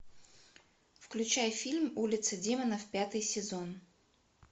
включай фильм улица демонов пятый сезон